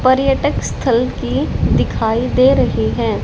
पर्यटक स्थल की दिखाई दे रही है।